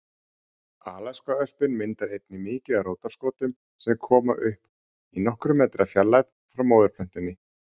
Alaskaöspin myndar einnig mikið af rótarskotum sem koma upp í nokkurra metra fjarlægð frá móðurplöntunni.